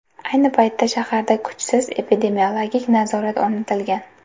Ayni paytda shaharda kuchsiz epidemiologik nazorat o‘rnatilgan.